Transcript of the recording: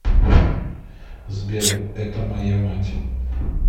сбер это моя мать